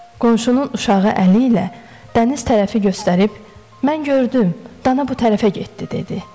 Qonşunun uşağı əli ilə dəniz tərəfi göstərib, mən gördüm, dana bu tərəfə getdi dedi.